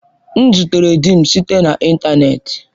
M zutere di m site na ịntanetị.